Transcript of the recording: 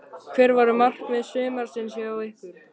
Hver voru markmið sumarsins hjá ykkur?